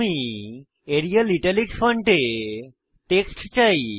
আমি Arial italic ফন্টে text চাই